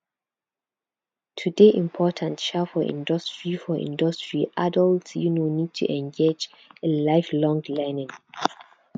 to dey imprtant um for industry for industry adult um need to engage in life long learning